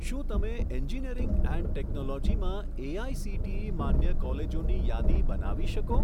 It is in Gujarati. શું તમે એન્જિનિયરિંગ એન્ડ ટેકનોલોજીમાં એઆઇસીટીઈ માન્ય કોલેજોની યાદી બનાવી શકો?